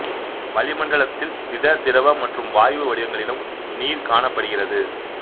வளிமண்டலத்தில் திட திரவ மற்றும் வாயு வடிவங்களிலும் நீர் காணப்படுகிறது